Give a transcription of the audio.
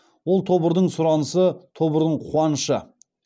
ол тобырдың сұранысы тобырдың қуанышы